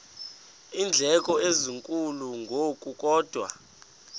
iindleko ezinkulu ngokukodwa